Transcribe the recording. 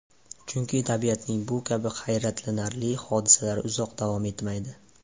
Chunki tabiatning bu kabi hayratlanarli hodisalari uzoq davom etmaydi.